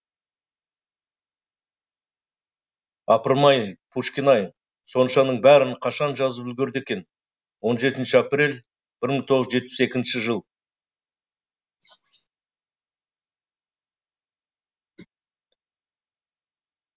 апырмай пушкин ай соншаның бәрін қашан жазып үлгерді екен он жетінші апрель бір мың тоғыз жүз жетпіс екінші жыл